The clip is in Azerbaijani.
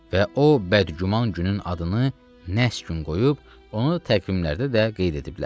Və o bəd-güman günün adını nəhs gün qoyub, onu təqvimlərdə də qeyd ediblər.